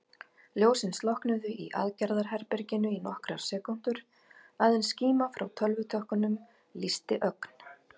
Ljósin slokknuðu í aðgerðaherberginu í nokkrar sekúndur, aðeins skíma frá tölvutökkunum lýsti ögn.